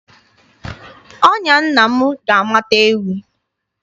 Ọnya nna m ga-amata ewi.